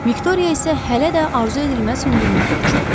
Viktoriya isə hələ də arzu edilməz hündürlükdə uçurdu.